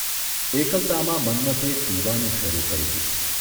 એકલતામાં મન્મથે પીવાનું શરૂ કરી દીધું.